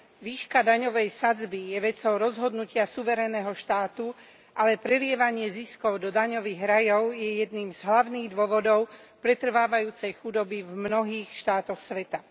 Výška daňovej sadzby je vecou rozhodnutia suverénneho štátu, ale prelievanie ziskov do daňových rajov je jedným z hlavných dôvodov pretrvávajúcej chudoby v mnohých štátoch sveta.